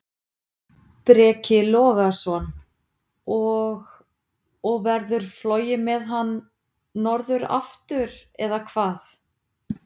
Breki Logason: Og, og verður flogið með hann norður aftur, eða hvað?